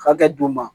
Hakɛ d'u ma